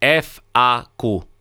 F A Q.